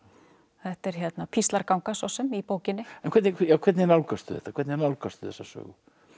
þetta er píslarganga svo sem í bókinni hvernig hvernig nálgastu þetta hvernig nálgastu þessa sögu